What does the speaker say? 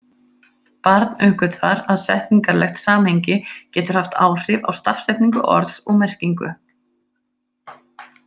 Barn uppgötvar að setningarlegt samhengi getur haft áhrif á stafsetningu orðs og merkingu.